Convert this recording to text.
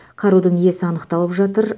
қарудың иесі анықталып жатыр